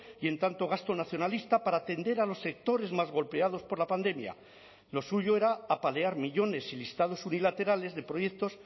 y en tanto gasto nacionalista para atender a los sectores más golpeados por la pandemia lo suyo era apalear millónes y listados unilaterales de proyectos